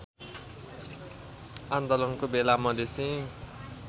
आन्दोलनका बेला मधेसी